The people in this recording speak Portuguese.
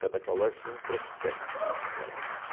Cada colégio tem um prospecto. Uma